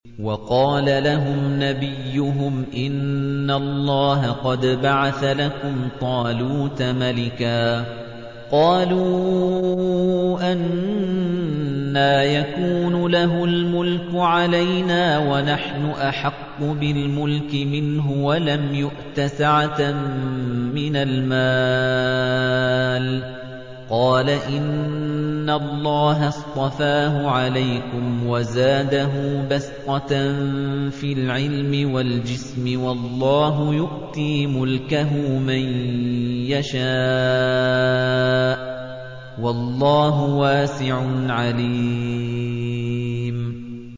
وَقَالَ لَهُمْ نَبِيُّهُمْ إِنَّ اللَّهَ قَدْ بَعَثَ لَكُمْ طَالُوتَ مَلِكًا ۚ قَالُوا أَنَّىٰ يَكُونُ لَهُ الْمُلْكُ عَلَيْنَا وَنَحْنُ أَحَقُّ بِالْمُلْكِ مِنْهُ وَلَمْ يُؤْتَ سَعَةً مِّنَ الْمَالِ ۚ قَالَ إِنَّ اللَّهَ اصْطَفَاهُ عَلَيْكُمْ وَزَادَهُ بَسْطَةً فِي الْعِلْمِ وَالْجِسْمِ ۖ وَاللَّهُ يُؤْتِي مُلْكَهُ مَن يَشَاءُ ۚ وَاللَّهُ وَاسِعٌ عَلِيمٌ